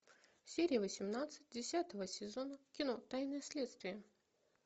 серия восемнадцать десятого сезона кино тайны следствия